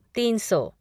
तीन सौ